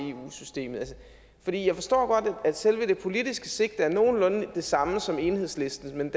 systemet for jeg forstår godt at selve det politiske sigte er nogenlunde det samme som enhedslistens men